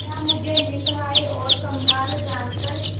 क्या मुझे निस्सहाय और कंगाल जानकर